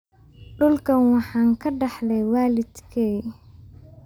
Dhulkan waxaan ka dhaxlay waalidkay.